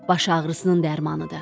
Baş ağrısının dərmanıdır.